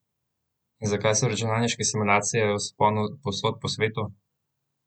In zakaj so računalniške simulacije v vzponu povsod po svetu?